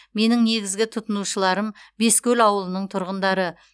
менің негізгі тұтынушыларым бескөл ауылының тұрғындары